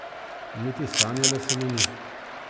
Niti sanjalo se mi ni.